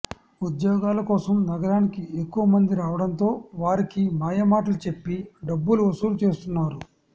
ఉద్యోగాల కోసం నగరానికి ఎక్కువ మంది రావడంతో వారికి మాయమాటలు చెప్పి డబ్బులు వసూలు చేస్తున్నారు